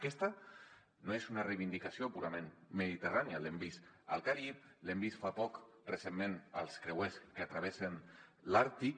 aquesta no és una reivindicació purament mediterrània l’hem vist al carib l’hem vist fa poc recentment als creuers que travessen l’àrtic